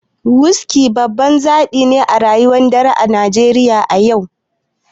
Wuski babban zabi ne a rayuwar dare a Najeriya a yau.